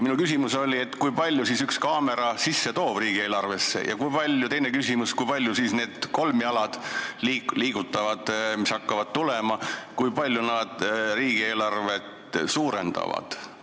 Minu küsimus oli, kui palju siis üks kaamera riigieelarvesse sisse toob, ja teine küsimus, kui palju need liigutatavad kolmjalad, mis hakkavad tulema, riigieelarvet suurendavad.